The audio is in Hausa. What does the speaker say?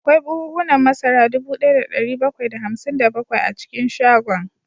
Akwai buhunan masara dubu daya da dari bakwai da hamsin da bakwai a cikin shagon